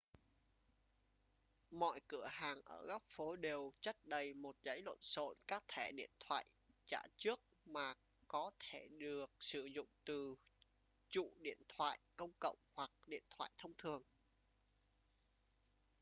mọi cửa hàng ở góc phố đều chất đầy một dãy lộn xộn các thẻ điện thoại trả trước mà có thể được sử dụng từ trụ điện thoại công cộng hoặc điện thoại thông thường